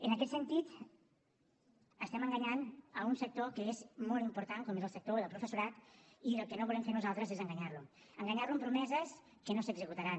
en aquest sentit estem enganyant un sector que és molt important com és el sector del professorat i el que no volem fer nosaltres és enganyar lo enganyar lo amb promeses que no s’executaran